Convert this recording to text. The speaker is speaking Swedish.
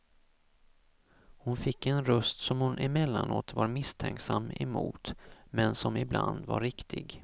Hon fick en röst som hon emellanåt var misstänksam emot, men som ibland var riktig.